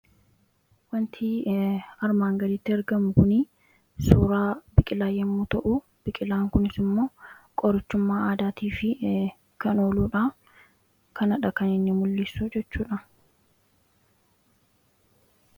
wanti armaan galitti argamu kuni suuraa biqilaa yommuu ta'u biqilaan kunis immoo qorichummaa aadaatii fi kan ooluudha kanadha kanii mul'issu jechuudha